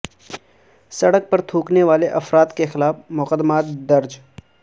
سڑک پر تھوکنے والے دو افراد کے خلاف مقدمات درج